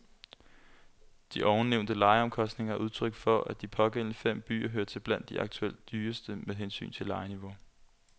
De ovennævnte lejeomkostninger er udtryk for, at de pågældende fem byer hører til blandt de aktuelt dyreste med hensyn til lejeniveau.